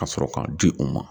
Ka sɔrɔ k'a di u ma